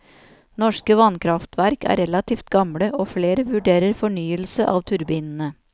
Norske vannkraftverk er relativt gamle, og flere vurderer fornyelse av turbinene.